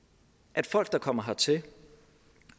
at folk der kommer hertil